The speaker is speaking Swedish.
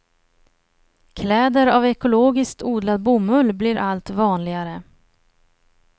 Kläder av ekologiskt odlad bomull blir allt vanligare.